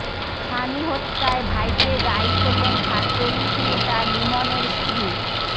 স্বামী হত্যায় ভাইকে দায়ী করলেন ছাত্রলীগ নেতা লিমনের স্ত্রী